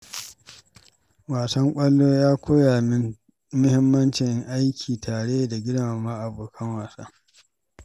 Wasan ƙwallo ya koya min mahimmancin aiki tare da girmama abokan wasa.